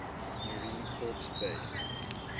marine corps base